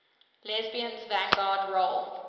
lesbians vanguard role